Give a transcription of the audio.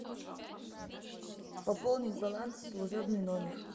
пополнить баланс служебный номер